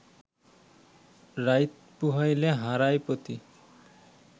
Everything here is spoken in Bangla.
রাইত পুহাইলে হারায় পতি